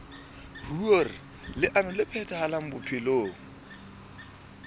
hoer leano le phethahale bophelong